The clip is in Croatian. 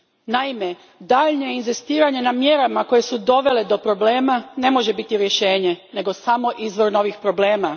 Naime, daljnje inzistiranje na mjerama koje su dovele do problema ne može biti rješenje, nego samo izvor novih problema.